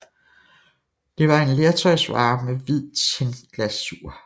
Det var en lertøjsvare med hvid tinglasur